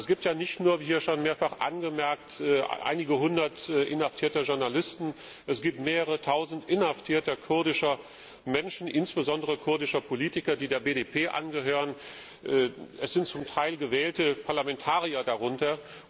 Es gibt ja nicht nur wie schon mehrfach angemerkt wurde einige hundert inhaftierte Journalisten, sondern es gibt mehrere tausend inhaftierter kurdischer Menschen, insbesondere kurdische Politiker, die der BDP angehören. Es sind zum Teil gewählte Parlamentarier darunter.